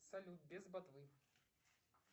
салют без ботвы